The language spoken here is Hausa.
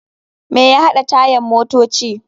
Me ya haɗa tayan motoci?